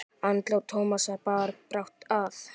Andlát Tómasar bar brátt að.